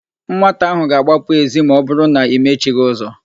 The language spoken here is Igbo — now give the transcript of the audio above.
Nwata áhụ̀ ga-agbapụ èzí ma ọbụrụ na i mechighị ụzọ.